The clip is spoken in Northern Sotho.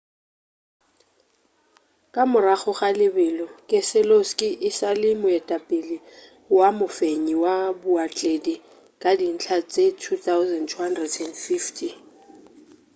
ka morago ga lebelo keseloski e sa le moetapele wa mofenyi wa baotledi ka dintlha tše 2,250